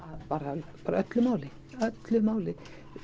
bara öllu máli öllu máli